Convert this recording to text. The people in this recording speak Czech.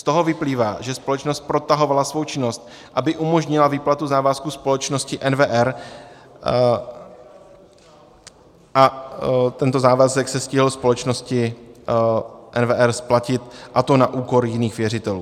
Z toho vyplývá, že společnost protahovala svou činnost, aby umožnila výplatu závazků společnosti NWR a tento závazek se stihl společnosti NWR splatit, a to na úkor jiných věřitelů.